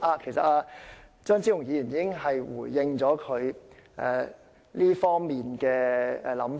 其實，張超雄議員已經回應了他這方面的想法。